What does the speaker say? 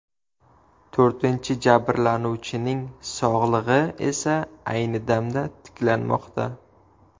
To‘rtinchi jabrlanuvchining sog‘lig‘i esa ayni damda tiklanmoqda.